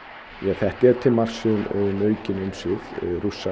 þetta er til marks um aukin umsvif Rússa